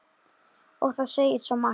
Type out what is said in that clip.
Og það segir svo margt.